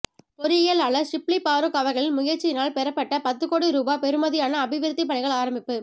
பொறியியலாளர் ஷிப்லி பாறுக் அவர்களின் முயற்சியினால் பெறப்பட்ட பத்து கோடி ரூபா பெறுமதியான அபிவிருத்தி பணிகள் ஆரம்பிப்பு